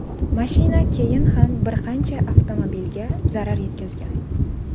Mashina keyin ham bir qancha avtomobilga zarar yetkazgan.